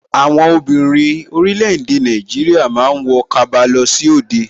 Àwọn obìnrin orílẹ̀ èdè Nàìjíríà ma ń wọ kaba lọ sí òde